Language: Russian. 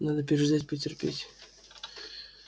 надо переждать потерпеть